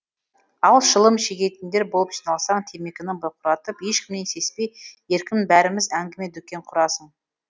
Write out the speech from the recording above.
ал шылым шегетіндер болып жиналсаң темекіні бұрқыратып ешкімнен сеспей еркін бәріміз әңгіме дүкен құрасың